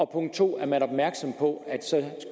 punkt 2 er man opmærksom på